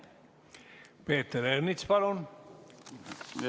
Peeter Ernits, palun!